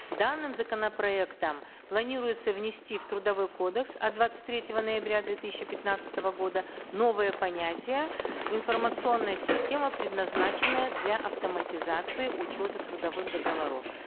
данным законопроектом планируется внести в трудовой кодекс от двадцать третьего ноября две тысячи пятнадцатого года новое понятие информационная система предназначенная для автоматизации учета трудовых договоров